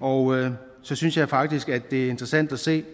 og så synes jeg faktisk at det er interessant at se